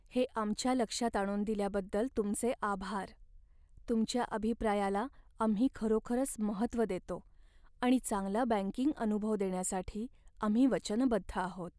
हे आमच्या लक्षात आणून दिल्याबद्दल तुमचे आभार. तुमच्या अभिप्रायाला आम्ही खरोखरच महत्त्व देतो आणि चांगला बँकिंग अनुभव देण्यासाठी आम्ही वचनबद्ध आहोत.